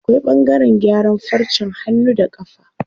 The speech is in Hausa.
Akwai ɓangaren gyaran farcen hannu da ƙafa.